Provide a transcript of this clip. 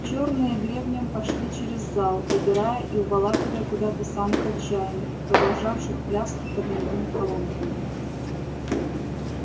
чёрные гребнем пошли через зал выбирая и уволакивая куда-то самых отчаянных продолжавших пляски под немыми колонками